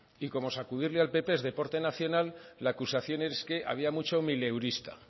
y como sacudirle al pp es deporte nacional la acusación es que había mucho mileurista